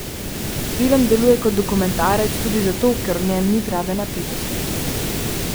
Film deluje kot dokumentarec tudi zato, ker v njem ni prave napetosti.